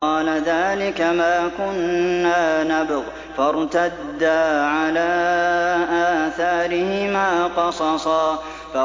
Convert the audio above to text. قَالَ ذَٰلِكَ مَا كُنَّا نَبْغِ ۚ فَارْتَدَّا عَلَىٰ آثَارِهِمَا قَصَصًا